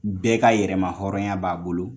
Bɛɛ ka yɛrɛmahɔrɔnya b'a bolo